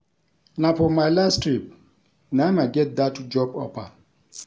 Na for my last trip na im I get dat job offer